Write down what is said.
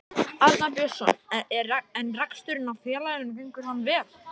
Arnar Björnsson: En reksturinn á félaginu gengur hann vel?